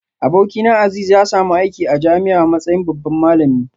Abokina Azeez ya samu aiki a jami'a a matsayin babban malami